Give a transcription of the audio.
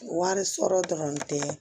Wari sɔrɔ dɔrɔn tɛ